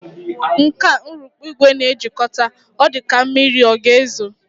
Nke a urukpu ìgwè na-ejikọta, ọ dịka ka mmiri ọ ga-ezo